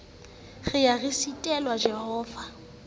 re ye re sitele jehova